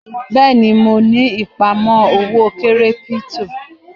Bẹ́ẹ̀ni mo ni ìpamọ́ owó kírípítò.